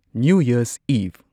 new year's ꯏꯚ